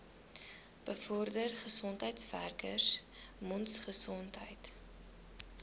bevorder gesondheidswerkers mondgesondheid